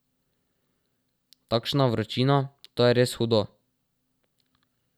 Takšna vročina, to je res hudo.